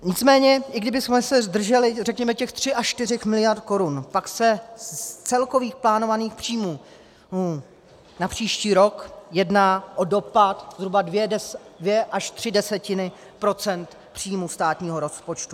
Nicméně i kdybychom se zdrželi řekněme těch 3 až 4 miliard korun, pak se z celkových plánovaných příjmů na příští rok jedná o dopad zhruba 2 až 3 desetiny procenta příjmů státního rozpočtu.